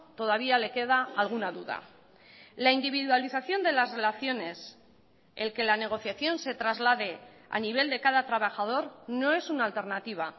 todavía le queda alguna duda la individualización de las relaciones el que la negociación se traslade a nivel de cada trabajador no es una alternativa